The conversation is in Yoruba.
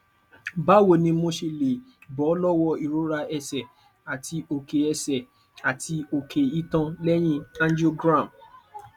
báwo ni mo ṣe lè bọ lọwọ ìrora ẹsẹ àti oke ẹsẹ àti oke itan leyin angiogram